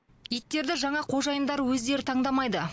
иттерді жаңа қожайындар өздері таңдамайды